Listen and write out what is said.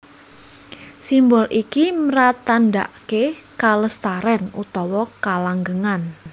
Simbol iki mratandhaké kalestarèn utawa kalanggengan